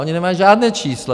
Oni nemají žádné číslo.